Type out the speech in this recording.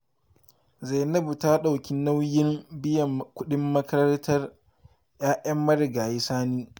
Zainabu ta ɗauki nauyin biyan kuɗin makarantar 'ya'yan marigayi Sani